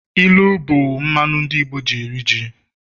ilu bu mmanu ndi Igbo ji eri ji.